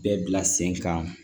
Bɛɛ bila sen kan